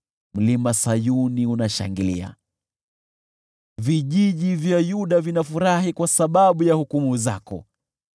Mlima Sayuni unashangilia, vijiji vya Yuda vinafurahi kwa sababu ya hukumu zako.